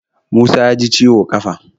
Musa ya ji ciwo ƙafa